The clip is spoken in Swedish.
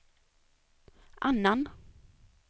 annan